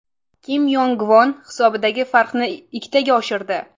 Kim Yong Gvon hisobdagi farqni ikkitaga oshirdi.